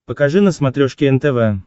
покажи на смотрешке нтв